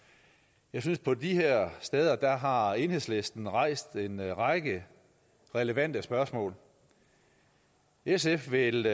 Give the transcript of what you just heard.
jeg synes at på de her steder har har enhedslisten rejst en række relevante spørgsmål sf vil